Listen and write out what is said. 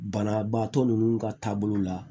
Banabaatɔ ninnu ka taabolo la